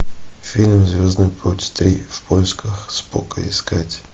фильм звездный путь три в поисках спока искать